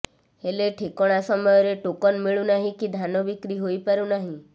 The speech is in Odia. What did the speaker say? ହେଲେ ଠିକଣା ସମୟରେ ଟୋକନ ମିଳୁନାହିଁ କି ଧାନ ବିକ୍ରି ହୋଇପାରୁନାହିଁ